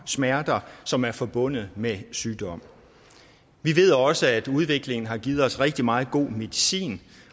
smerter som er forbundet med sygdom vi ved også at udviklingen har givet patienterne rigtig meget god medicin